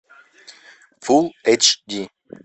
фулл эйч ди